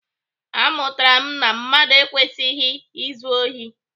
Amụtara m na mmadụ ekwesịghị izu ohi.